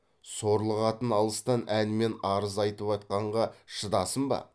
сорлы қатын алыстан әнмен арыз айтып атқанға шыдасын ба